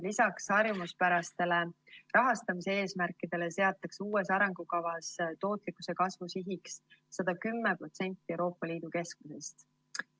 Lisaks harjumuspärastele rahastamise eesmärkidele seatakse uues arengukavas tootlikkuse kasvu sihiks 110% Euroopa Liidu keskmisest.